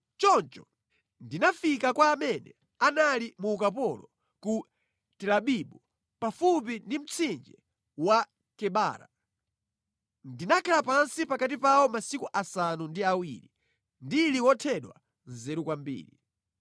Choncho ndinafika kwa amene anali mu ukapolo ku Telabibu pafupi ndi mtsinje wa Kebara. Ndinakhala pansi pakati pawo masiku asanu ndi awiri, ndili wothedwa nzeru kwambiri.